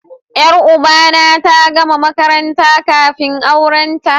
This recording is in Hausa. Yar uba na ta gama makaranta kafin aurenta